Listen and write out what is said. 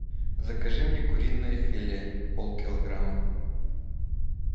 закажи мне куриное филе пол килограмма